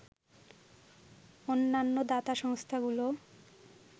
অন্যান্য দাতা সংস্থাগুলো